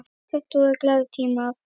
Já, þetta voru glaðir tímar.